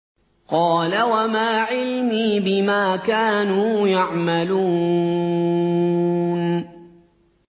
قَالَ وَمَا عِلْمِي بِمَا كَانُوا يَعْمَلُونَ